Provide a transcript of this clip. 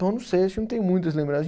Não sei, acho que eu não tenho muitas